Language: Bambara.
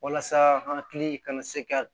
Walasa an hakili kana se ka